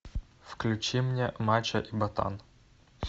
включи мне мачо и ботан